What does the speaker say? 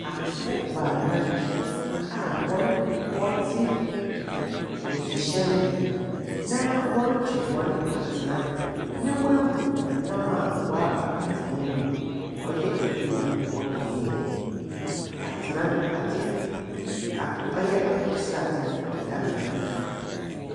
Apofo baanan a wɔre wɔte nsuhyɛn mu, na wɔretwe hɔn atena, na woehu nnam a wɔaba atena no mu. Ɔyɛ adwuma a wɔkɔyɛe no. atena no, ade ak ɔyɛ akokɔ sradze ɔdeda ano.